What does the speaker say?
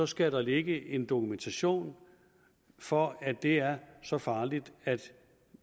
skal ligge en dokumentation for at det er så farligt at